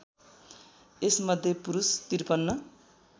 यसमध्ये पुरुष ५३